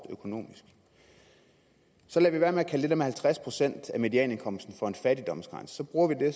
økonomisk så lader vi være med at kalde det der med halvtreds procent af medianindkomsten for en fattigdomsgrænse så bruger vi det